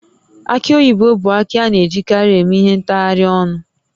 Aki oyibo bụ akị a na-ejikarị eme ihe ntaharịa ọnụ